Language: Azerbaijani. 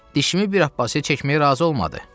Dişimi bir Abbasiyə çəkməyə razı olmadı.